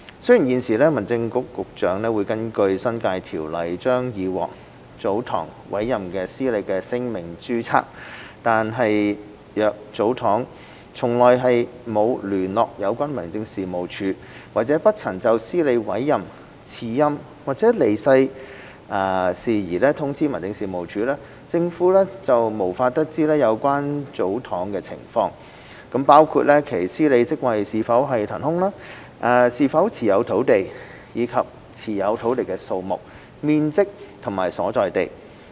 雖然現時民政事務局局長會根據《新界條例》將已獲祖堂委任的司理的姓名註冊，但若祖堂從來沒有聯絡有關民政事務處，或不曾就司理委任、辭任或離世事宜通知民政事務處，政府便無法得知有關祖堂的情況，包括其司理職位是否懸空，是否持有土地，以及持有土地的數目、面積和所在地等。